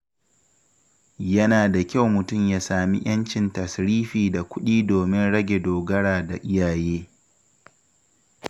Yana da kyau mutum ya sami ‘yancin tasrifi da kuɗi domin rage dogara da iyaye.